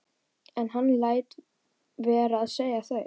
En hann lét vera að segja þau.